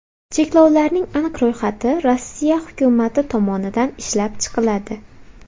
Cheklovlarning aniq ro‘yxati Rossiya hukumati tomonidan ishlab chiqiladi.